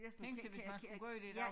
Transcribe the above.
Tænk sig hvis man skulle gøre det i dag